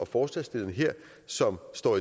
forslagsstillerne her som står